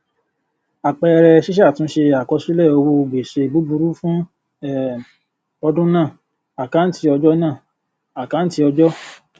àpẹẹrẹ ṣíṣàtúnṣe àkọsílẹ owó gbèsè búburú fún um ọdún náà àkáǹtí ọjọ náà àkáǹtí ọjọ